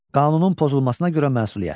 Qanunun pozulmasına görə məsuliyyət.